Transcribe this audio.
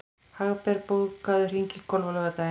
Hagbert, bókaðu hring í golf á laugardaginn.